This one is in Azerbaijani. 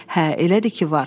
Hə, elədir ki, var.